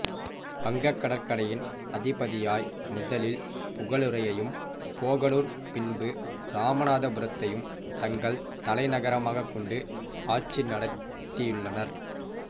வங்கக்கடற்கரையின் அதிபதியாய் முதலில் புகலூரையும் போகலூர் பின்பு இராமநாதபுரத்தையும் தங்கள் தலைநகரமாக கொண்டு ஆட்சி நடத்தியள்ளனர்